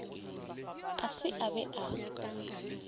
a se a be a